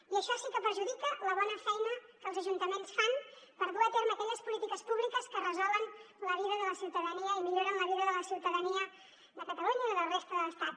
i això sí que perjudica la bona feina que els ajuntaments fan per dur a terme aquelles polítiques públiques que resolen la vida de la ciutadania i milloren la vida de la ciutadania de catalunya i de la resta de l’estat